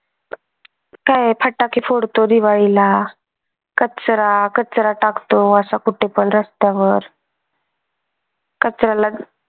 तर फटाके फोडतो दिवाळी ला कचरा कचरा टाकतो असा कुठेपण रस्त्यावर कचऱ्याला